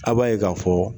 A b'a ye k'a fɔ